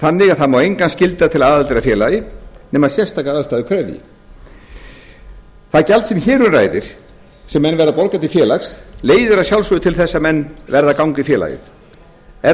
þannig að það má engan skylda til aðildar að félagi nema sérstakar aðstæður krefji það gjald sem hér um ræðir sem menn verða að borga til félags leiðir að sjálfsögðu til þess að menn verða að ganga í félagið